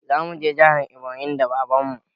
Zamu je jihar eboyin da baban mu